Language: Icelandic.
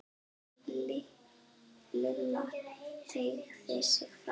Lilla teygði sig fram.